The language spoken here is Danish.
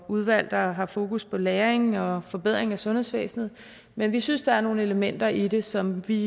udvalg der har fokus på læring og forbedring af sundhedsvæsenet men vi synes der er nogle elementer i det som vi